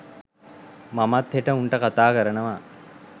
මමත් හෙට උන්ට කතා කරනවා